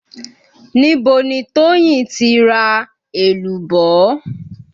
Níbo ni Toyin ti ra èlùbọ́?